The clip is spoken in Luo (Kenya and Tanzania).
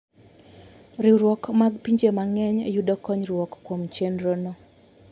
Riwruok mag pinje mang'eny yudo konyruok kuom chenrono.